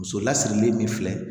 Muso lasirilen min filɛ